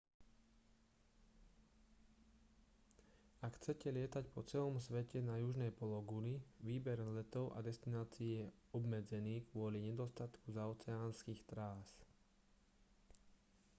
ak chcete lietať po celom svete na južnej pologuli výber letov a destinácií je obmedzený kvôli nedostatku zaoceánskych trás